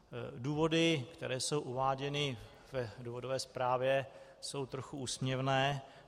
Důvody, které jsou uváděny v důvodové zprávě, jsou trochu úsměvné.